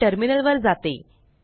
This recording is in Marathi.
मी टर्मिनल वर जाते